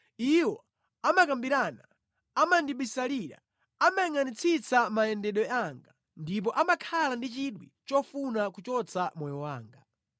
Iwo amakambirana, amandibisalira, amayangʼanitsitsa mayendedwe anga ndipo amakhala ndi chidwi chofuna kuchotsa moyo wanga.